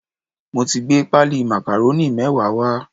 Mo ti gbé páálí màkàrónì mẹ́wàá wá